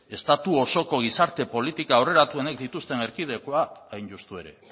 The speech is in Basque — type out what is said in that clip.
estatu osoko gizarte politika aurreratuenak dituzten erkidegoan hain justu ere